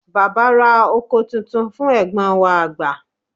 baba ra òko Titun fún egbon wa agba